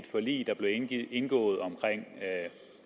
forlig der blev indgået omkring